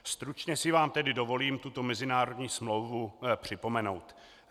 Stručně si vám tedy dovolím tuto mezinárodní smlouvu připomenout.